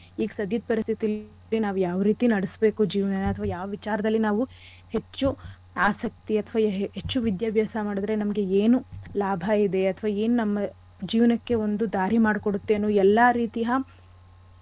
ಈಗ್ ಸದ್ಯದ್ ಪರಿಸ್ಥಿತಿಲಿ ನಾವ್ ಯಾವ್ ರೀತಿ ನಡೆಸ್ಬೇಕು ಜೀವನನ ಅಥವಾ ಯಾವ್ ವಿಚಾರದಲ್ಲಿ ನಾವು ಹೆಚ್ಚು ಆಸಕ್ತಿ ಅಥವಾ ಹೆಚ್ಚು ವಿದ್ಯಾಭ್ಯಾಸ ಮಾಡಿದ್ರೆ ನಮ್ಗೆ ಏನು ಲಾಭ ಇದೆ ಅಥವಾ ಏನ್ ನಮ್ಮ ಜೀವನಕ್ಕೆ ಒಂದು ದಾರಿ ಮಾಡ್ಕೊಡತ್ತೆ ಅನ್ನೋ ಎಲ್ಲಾ ರೀತಿಯ,